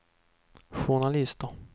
journalister